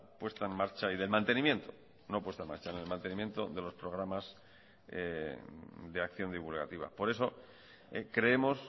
puesta en marcha y del mantenimiento no puesta en marcha en el mantenimiento de los programas de acción divulgativa por eso creemos